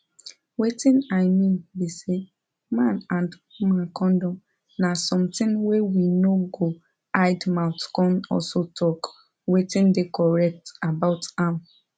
wetin i mean be say man and woman condom na something wey we no go hide mouth come also talk wetin dey correct about am